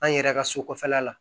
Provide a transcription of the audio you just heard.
An yɛrɛ ka so kɔfɛla la